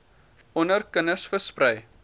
onder kinders versprei